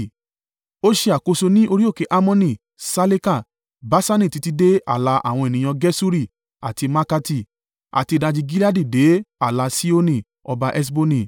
Ó ṣe àkóso ní orí òkè Hermoni, Saleka, Baṣani títí dé ààlà àwọn ènìyàn Geṣuri àti Maakati, àti ìdajì Gileadi dé ààlà Sihoni ọba Heṣboni.